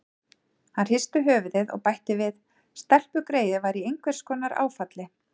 Hann hristi höfuðið og bætti við: Stelpugreyið var í einhvers konar áfalli.